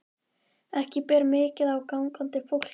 Ekki ber mikið á gangandi fólki.